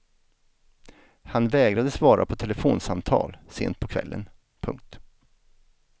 Han vägrade svara på telefonsamtal sent på kvällen. punkt